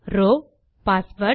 row password